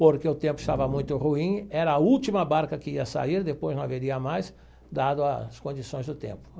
Porque o tempo estava muito ruim, era a última barca que ia sair, depois não haveria mais, dado as condições do tempo.